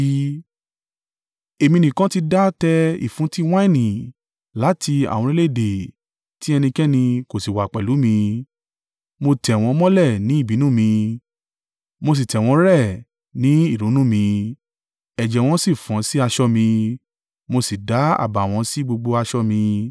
“Èmi nìkan ti dá tẹ ìfúntí wáìnì; láti àwọn orílẹ̀-èdè tí ẹnikẹ́ni kò sì wà pẹ̀lú mi. Mo tẹ̀ wọ́n mọ́lẹ̀ ní ìbínú mi mo sì tẹ̀ wọ́n rẹ́ ní ìrunú mi ẹ̀jẹ̀ wọn sì fọ́n sí aṣọ mi, mo sì da àbàwọ́n sí gbogbo aṣọ mi.